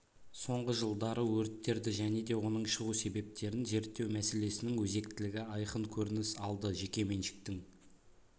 сонғы жылдары өрттерді және де оның шығу себептерін зерттеу мәселесінің өзектілігі айқын көрініс алды жеке меншіктің